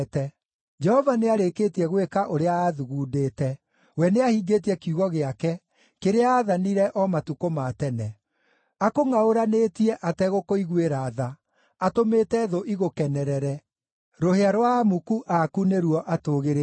Jehova nĩarĩkĩtie gwĩka ũrĩa aathugundĩte; we nĩahingĩtie kiugo gĩake, kĩrĩa aathanire o matukũ ma tene. Akũngʼaũranĩtie ategũkũiguĩra tha, atũmĩte thũ igũkenerere, rũhĩa rwa amuku aku nĩruo atũgĩrĩtie.